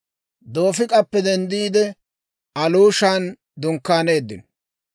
Doofik'appe denddiide, Aluushan dunkkaaneeddino.